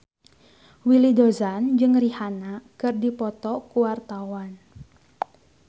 Willy Dozan jeung Rihanna keur dipoto ku wartawan